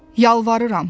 Yalvarıram.